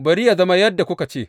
Bari yă zama yadda kuka ce.